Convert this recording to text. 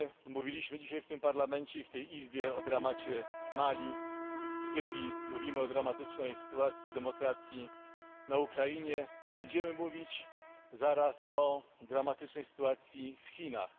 Mówiliśmy dzisiaj w tym Parlamencie i w tej Izbie o dramacie w Mali, w Syrii, mówimy o dramatycznej sytuacji demokracji na Ukrainie, będziemy mówić zaraz o dramatycznej sytuacji w Chinach.